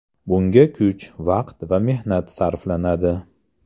Bunga kuch, vaqt va mehnat sarflanadi.